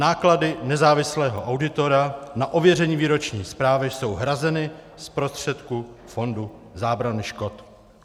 Náklady nezávislého auditora na ověření výroční zprávy jsou hrazeny z prostředků Fondu zábrany škod."